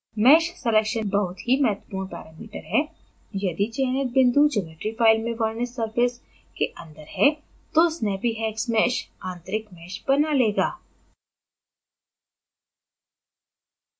mesh selection बहुत ही महत्वपूर्ण parameter है यदि चयनित बिंदु geometry file में वर्णित surface के अंदर है तो snappyhexmesh आंतरिक mesh बना लेगा